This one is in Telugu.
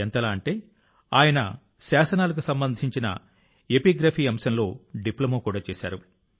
ఎంతలా అంటే ఆయన శాసనాలకు సంబంధించిన ఎపిగ్రఫీ అంశంలో డిప్లొమా కూడా చేశారు